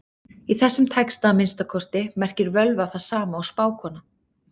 Í þessum texta, að minnsta kosti, merkir völva það sama og spákona.